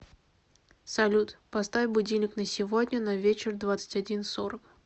салют поставь будильник на сегодня на вечер двадцать один сорок